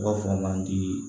U b'a fɔ mandi